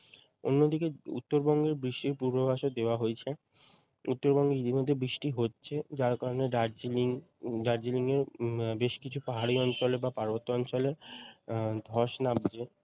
অন্যদিকে উত্তরবঙ্গের বৃষ্টির পূর্বাভাসও দেওয়া হয়েছে উত্তরবঙ্গে ইতিমধ্যে বৃষ্টি হচ্ছে যার কারণে দার্জিলিং দার্জিলিং এর বেশ কিছু পাহাড়ি অঞ্চলে বা পার্বত্য অঞ্চলে উম ধস নামছে